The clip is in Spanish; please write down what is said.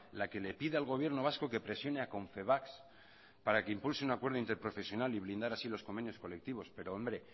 la que le pide al gobierno vasco que presione a confebask para que impulse un acuerdo interprofesional y blindar así los convenios colectivos pero hombre